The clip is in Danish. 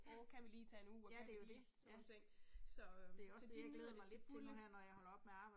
Åh kan vi lige tage en uge og kan vi lige, sådan nogle ting så øh så de nyder det til fulde